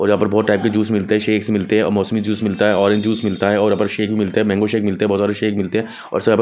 और यहां पर बहोत टाइप के जूस मिलते है शेक्स मिलते है मौसम्बी जूस मिलता हैं ऑरेंज जूस मिलता हैं और यहां पर शेक मिलता हैं मैंगो शेक मिलता है बहोत सारे शेक मिलते हैं और यहां पर --